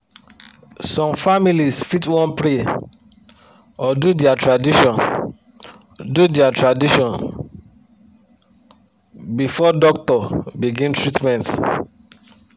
some families fit wan pray or do dia tradition do dia tradition before doctor begin treatment.